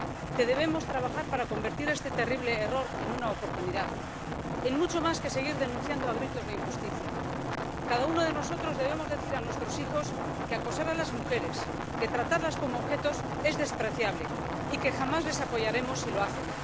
Que debemos trabajar para convertir este terrible error en una oportunidad, en mucho más que seguir denunciando a gritos la injusticia. Cada uno de nosotros debemos decir a nuestros hijos que acosar a las mujeres, que tratarlas como objetos es despreciable y que jamás les apoyaremos si lo hacen.